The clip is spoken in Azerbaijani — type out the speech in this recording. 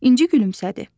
İnci gülümsədi.